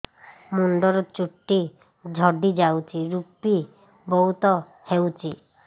ମୁଣ୍ଡରୁ ଚୁଟି ଝଡି ଯାଉଛି ଋପି ବହୁତ ହେଉଛି